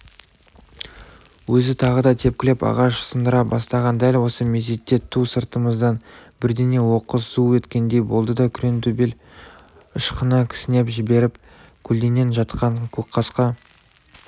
өзі тағы да тепкілеп ағаш сындыра бастаған дәл осы мезетте ту сыртымыздан бірдеңе оқыс зу еткендей болды да күреңтөбел ышқына кісінеп жіберіп көлденең жатқан көкқасқа